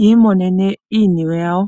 yi imonene iiniwe yawo.